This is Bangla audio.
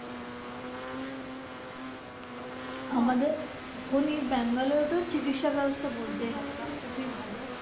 আমাদের এখন এই ব্যাঙ্গালুরুতে চিকিৎসা ব্যবস্থা বলতে হবে না খুবই ভালো।